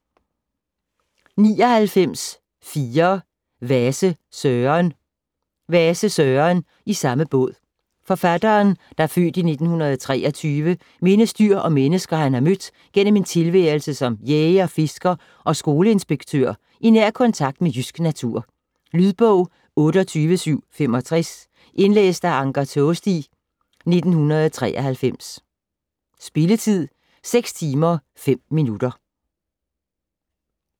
99.4 Vase, Søren Vase, Søren: I samme båd Forfatteren (f. 1923) mindes dyr og mennesker han har mødt gennem en tilværelse som jæger, fisker og skoleinspektør i nær kontakt med jysk natur. Lydbog 28765 Indlæst af Anker Taasti, 1993. Spilletid: 6 timer, 5 minutter.